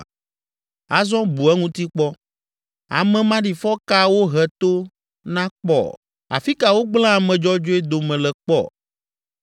“Azɔ bu eŋuti kpɔ. Ame maɖifɔ ka wohe to na kpɔ? Afi ka wogblẽ ame dzɔdzɔe dome le kpɔ?